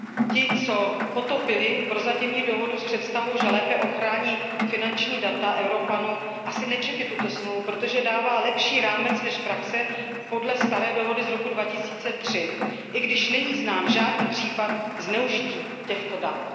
Ti, co potopili prozatímní dohodu s představou, že lépe ochrání finanční data Evropanů, asi nečetli tuto smlouvu, protože dává lepší rámec než praxe podle staré dohody z roku 2003, i když není znám žádný případ zneužití těchto dat.